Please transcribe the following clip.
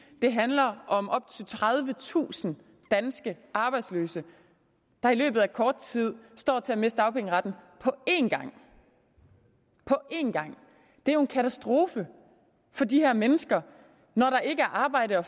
det handler om op til tredivetusind danske arbejdsløse der i løbet af kort tid står til at miste dagpengeretten på én gang på én gang det er jo en katastrofe for de her mennesker når der ikke er arbejde at